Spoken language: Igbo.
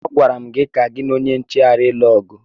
Agwara gị ka gị na onye nche ghara ịlụ ọgụ!